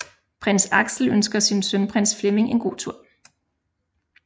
Prins Axel ønsker sin søn Prins Flemming en god tur